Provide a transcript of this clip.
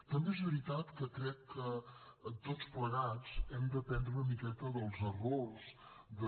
també és veritat que crec que tots plegats hem d’aprendre una miqueta dels errors de